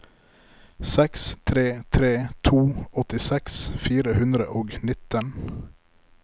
seks tre tre to åttiseks fire hundre og nitten